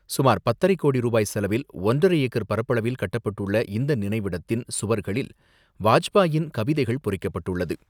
சுமார் பத்தரை கோடி ரூபாய் செலவில் ஒன்றரை ஏக்கர் பரப்பளவில் கட்டப்பட்டுள்ள இந்த நினைவிடத்தின் சுவர்களில் வாஜ்பாயின் கவிதைகள் பொறிக்கப்பட்டுள்ளது.